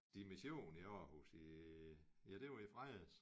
Dimission i Aarhus i ja det var i fredags